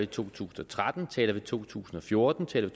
to tusind og tretten taler vi om to tusind og fjorten taler